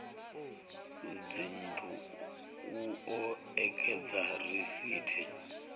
dzinnu u o ekedza risithi